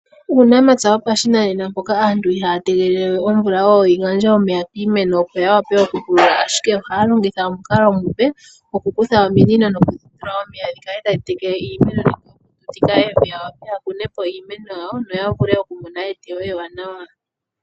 Uunamapya wopashinanena mpoka aantu ihaya tegelele we omvula oyo yi gandje omeya kiimeno opo yawape okupulula. Ashike ohaya longitha omukalo omupe gwokukutha ominino nokudhitula omeya dhikale tadhi tekele iimeno, ya wape yakune po iimeno yawo noya vule okumona eteyo ewanawa.